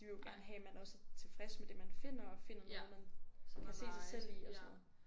De vil jo gerne have man også er tilfreds med det man finder og finder noget man kan se sig selv i og sådan noget